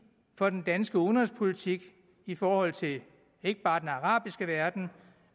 for den danske udenrigspolitik i forhold til ikke bare den arabiske verden